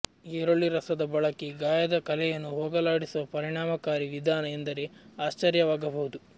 ಈರುಳ್ಳಿ ರಸದ ಬಳಕೆ ಗಾಯದ ಕಲೆಯನ್ನು ಹೋಗಲಾಡಿಸುವ ಪರಿಣಾಮಕಾರಿ ವಿಧಾನ ಎಂದರೆ ಆಶ್ಚರ್ಯವಾಗಬಹುದು